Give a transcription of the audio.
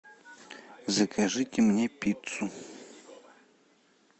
закажите мне пиццу